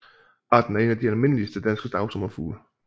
Arten er en af de almindeligste danske dagsommerfugle